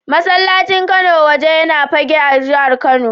Masallacin Kano Waje yana Fagge a jihar Kano.